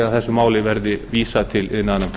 þessu máli verði vísað til iðnaðarnefndar